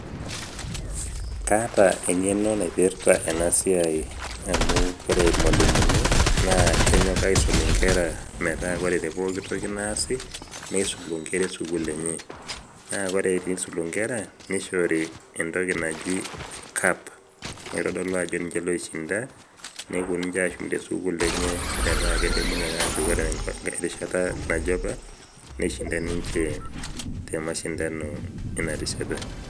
kaatengeno naipirata ena siai, amu ore irmalimuni, ana kenyok aisum nkera, metaa ore te pooki toki naasi neisulu nkera esukuul enye. naa ore pee eisulu nkera, neishori entoki naji cup naitodolu ajo nince loishinda, nepuo ninche ashum te sukuul enye, metaa kidim ake ajo ore erishata naje apa nisnhinda ninche te mashindano ena rishata.